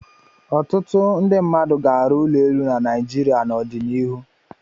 Ọtụtụ ndị mmadụ ga-arụ ụlọ elu na Naịjirịa n'ọdịnihu.